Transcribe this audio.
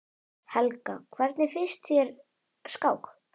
Helga: Hvernig finnst þér skák?